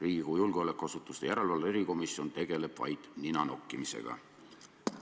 Riigikogu julgeolekuasutuste järelevalve erikomisjon tegeleb vaid nina nokkimisega.